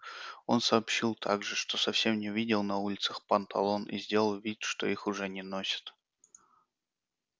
он сообщил также что совсем не видел на улицах панталон и сделал вид что их уже не носят